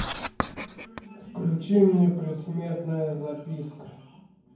включи мне предсмертная записка